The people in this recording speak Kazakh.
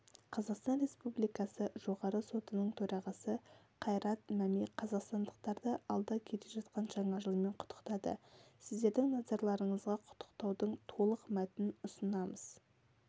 қазақстан республикасы жоғарғы сотының төрағасы қайрат мәми қазақстандықтарды алда келе жатқан жаңа жылмен құттықтады сіздердің назарларыңызғақұттықтаудың толық мәтінін ұсынамыз